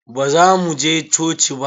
Baza mu je coci ba?